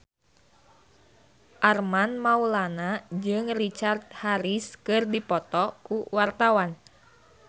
Armand Maulana jeung Richard Harris keur dipoto ku wartawan